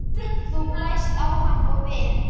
Þú blæst á hann og vin